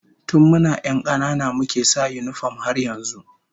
Tun muna 'yan kanana muke sa yinifom har yanzu